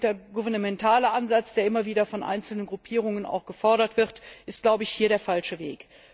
Der intergouvernementale Ansatz, der immer wieder von einzelnen Gruppierungen gefordert wird, ist, glaube ich, hier der falsche Weg.